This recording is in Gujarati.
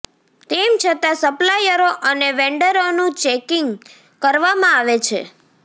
તેમ છતાં સપ્લાયરો અને વેન્ડરોનું ચેકિંક કરવામાં આવે છે